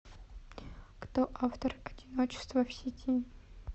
кто автор одиночество в сети